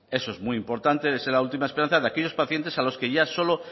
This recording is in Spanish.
eso es muy importante es la última esperanza de aquellos pacientes a los que ya solo